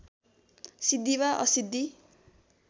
सिद्धि वा असिद्धि